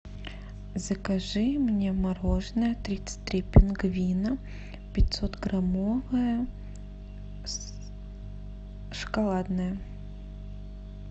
закажи мне мороженое тридцать три пингвина пятьсотграммовое шоколадное